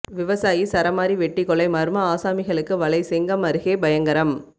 விவசாயி சரமாரி வெட்டி கொலை மர்ம ஆசாமிகளுக்கு வலை செங்கம் அருகே பயங்கரம்